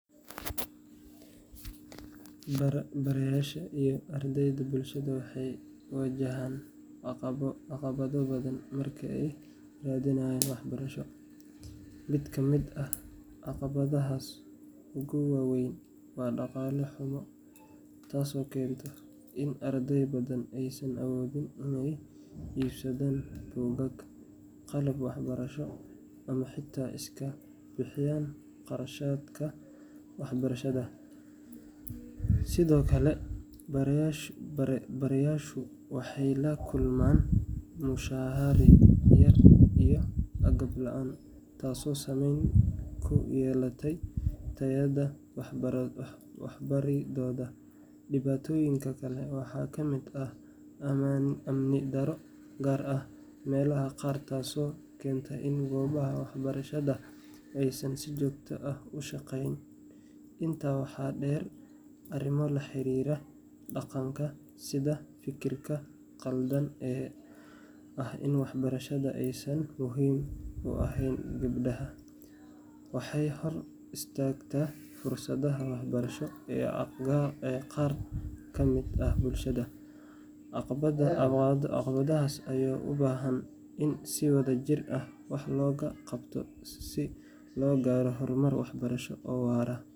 Barayaasha iyo ardayda bulshada waxay wajahaan caqabado badan marka ay raadinayaan waxbarasho. Mid ka mid ah caqabadaha ugu waa weyn waa dhaqaale xumo, taasoo keenta in arday badan aysan awoodin inay iibsadaan buugaag, qalab waxbarasho, ama xitaa iska bixiyaan kharashka waxbarashada. Sidoo kale, barayaashu waxay la kulmaan mushahar yari iyo agab la’aan, taasoo saameyn ku yeelata tayada waxbaridooda. Dhibaatooyinka kale waxaa ka mid ah amni darro, gaar ahaan meelaha qaar, taasoo keenta in goobaha waxbarashada aysan si joogto ah u shaqayn. Intaa waxaa dheer, arrimo la xiriira dhaqanka sida fikirka qaldan ee ah in waxbarashada aysan muhiim u ahayn gabdhaha, waxay hor istaagtaa fursadaha waxbarasho ee qaar ka mid ah bulshada. Caqabadahan ayaa u baahan in si wadajir ah wax looga qabto si loo gaaro horumar waxbarasho oo waara.